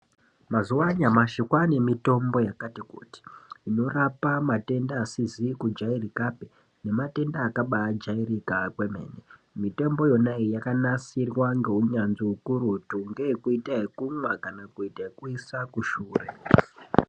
Mazuwa anyamashi kwane mitombo yakati kuti inorapa matenda asizi kujairikapi nemarenda akabajairika kwemene. Mitombo iyona iyi yakanasirwa ngeunyanzvi ukurutu ngeyekuita yekumwa kana kuita yekuisa kushure.